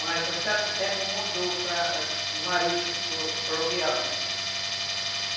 Mas, num certo tempo, mudou para marítimo, fluvial, né?